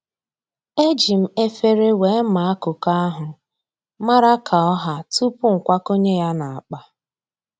E ji m efere wee maa koko ahụ, mara ka ọ ha tupuu m kwakọnye ya n'akpa